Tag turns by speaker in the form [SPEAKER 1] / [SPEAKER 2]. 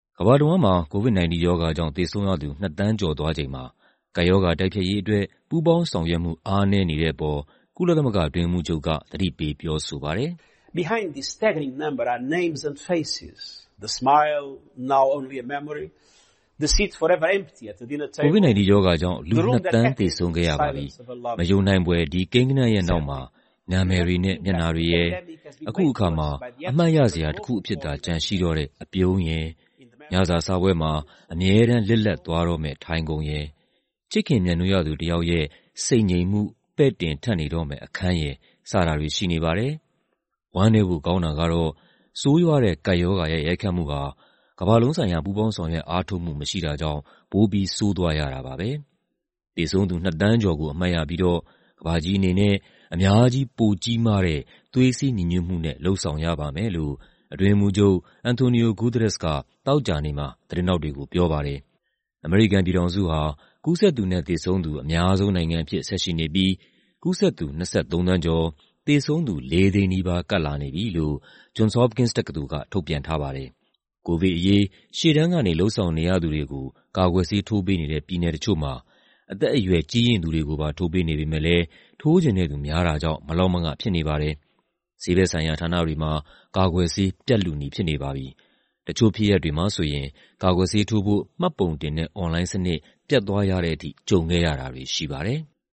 [SPEAKER 1] ကမ္ဘာတဝန်းမှာ COVID-19 ရောဂါကြောင့် သေဆုံးရသူ ၂ သန်းကျော်သွားချိန်မှာ ကပ်ရောဂါ တိုက်ဖျက်ရေးအတွက် ပူးပေါင်းဆောင်ရွက်မှု အားနည်းနေတဲ့အပေါ် ကုလသမဂ္ဂ အတွင်းရေးမှူးချုပ်က သတိပေးပြောဆိုပါတယ်။ "COVID-19 ရောဂါကြောင့် လူ ၂ သန်း သေဆုံးခဲ့ရပါပြီ။ မယုံနိုင်ဖွယ် ဒီကိန်းဂဏန်းရဲ့နောက်မှာ နာမည်တွေနဲ့ မျက်နှာတွေရယ်၊ အခုအခါမှာ အမှတ်ရစရာတခုအဖြစ်သာ ရှိတော့တဲ့ အပြုံးရယ်၊ ညစာစားပွဲမှာ အမြဲတမ်း လစ်လပ်သွားတော့မယ့် ထိုင်ခုံရယ်၊ ချစ်ခင်မြတ်နိုးရသူတယောက်ရဲ့ ဆိတ်ငြိမ်မှု ပဲ့တင်ထပ်နေတော့မယ့် အခန်းရယ် စတာတွေ ရှိနေပါတယ်။ ဝမ်းနည်းဖို့ကောင်းတာကတော့ ဆိုးရွားတဲ့ ကပ်ရောဂါရဲ့ ရိုက်ခတ်မှုဟာ ကမ္ဘာလုံးဆိုင်ရာ ပူးပေါင်းဆောင်ရွက် အားထုတ်မှု မရှိတာကြောင့် ပိုပြီး ဆိုးသွားရတာပါပဲ။ သေဆုံးသူ ၂ သန်းကျော်ကို အမှတ်ရပြီးတော့ ကမ္ဘာကြီးအနေနဲ့ အများကြီး ပိုကြီးမားတဲ့ သွေးစည်းညီညွတ်မှုနဲ့ လုပ်ဆောင်ရပါမယ်" လို့ အတွင်းရေးမှူးချုပ် Antonio Guterres က သောကြာနေ့မှာ သတင်းထောက်တွေကို ပြောပါတယ်။ အမေရိကန်ပြည်ထောင်စုဟာ ကူးစက်သူနဲ့ သေဆုံးသူ အများဆုံးနိုင်ငံအဖြစ် ဆက်ရှိနေပြီး ကူးစက်သူ ၂၃ သန်းကျော်၊ သေဆုံးသူ ၄၀၀,၀၀၀ နီးပါး ကပ်လာနေပြီလို့ Johns Hopkins တက္ကသိုလ်က ထုတ်ပြန်ထားပါတယ်။ ကိုဗစ်အရေး ရှေ့တန်းကနေ လုပ်ဆောင်နေရသူတွေကို ကာကွယ်ဆေး ထိုးပေးနေတဲ့ ပြည်နယ်တချို့မှာ အသက်အရွယ် ကြီးရင့်သူတွေကို ထိုးပေးနေပေမယ့်လည်း ထိုးချင်တဲ့သူများတာကြောင့် မလောက်မင ဖြစ်နေပါတယ်။ ဆေးဘက်ဆိုင်ရာ ဌာနတွေမှာ ကာကွယ်ဆေး ပြတ်လုနီးဖြစ်နေပါပြီ။ တချို့ဖြစ်ရပ်တွေမှာဆိုရင် ကာကွယ်ဆေးထိုးဖို့ မှတ်ပုံတင်တဲ့ အွန်လိုင်းစနစ် ပျက်သွားရတဲ့ထိ ကြုံခဲ့ရတာတွေ ရှိပါတယ်။